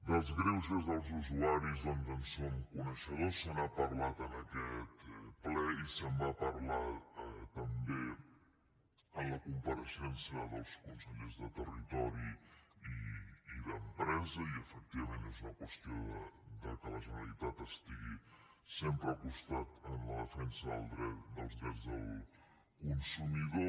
dels greuges dels usuaris doncs en som coneixedors se n’ha parlat en aquest ple i se’n va parlar també en la compareixença dels consellers de territori i d’empresa i efectivament és una qüestió del fet que la generalitat estigui sempre al costat en la defensa dels drets del consumidor